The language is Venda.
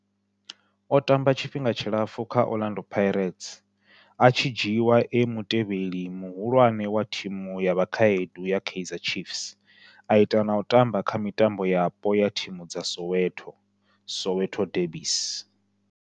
O tamba tshifhinga tshilapfhu kha Orlando Pirates, a tshi dzhiiwa e mutevheli muhulwane wa thimu ya vhakhaedu ya Kaizer Chiefs, a ita na u tamba kha mitambo yapo ya thimu dza Soweto, Soweto derbies.